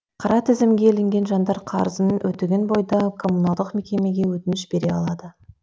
қара тізімге ілінген жандар қарызын өтеген бойда коммуналдық мекемеге өтініш бере алады